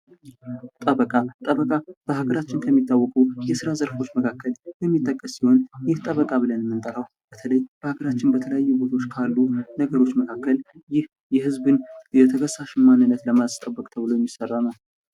ጠበቃ ጠበቃ በሀገራችን ከሚታወቁ የሥራ ዘርፎች መካከል የሚጠቀስ ሲሆን፤ ይህ ጠበቃ ብለን የምንጠራው በተለይ በሀገራችን በተለያዩ ቦታዎች ካሉ ነገሮች መካከል ይህ የህዝብን የተከሳሽ ማንነት ለማስጠበቅ ተብሎ የሚሠራ ነው።